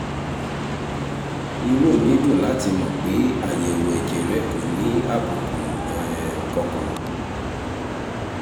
inú mi dùn láti mọ̀ pé àyẹ̀wò ẹ̀jẹ̀ rẹ kò ní àbùkù um kankan